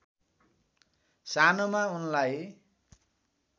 सानोमा उनलाई